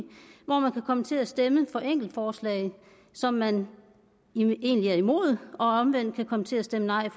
hvor man kan komme til at stemme for enkeltforslag som man egentlig er imod og omvendt kan komme til at stemme nej